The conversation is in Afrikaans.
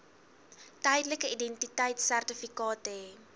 tydelike identiteitsertifikaat hê